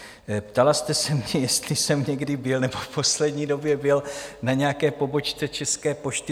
Ptala jste si mě, jestli jsem někdy byl - nebo v poslední době byl - na nějaké pobočce České pošty.